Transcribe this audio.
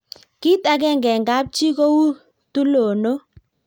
kit akenge eng kap jii ko u tulondok